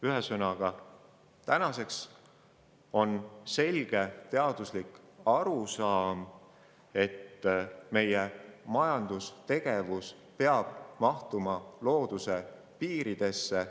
Ühesõnaga, tänaseks on selge teaduslik arusaam selline, et meie majandustegevus peab mahtuma looduse piiridesse.